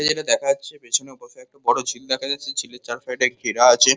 এ যেটা দেখা যাচ্ছে পেছনে বসা একটা বড় ঝিল দেখা যাচ্ছে ঝিলের চার সাইড -এ ঘেরা আছে।